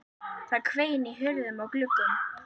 Það hvein í hurðum og gluggum.